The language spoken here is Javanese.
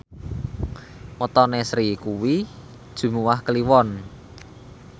wetone Sri kuwi Jumuwah Kliwon